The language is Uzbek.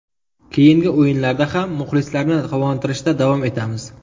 Keyingi o‘yinlarda ham muxlislarni quvontirishda davom etamiz.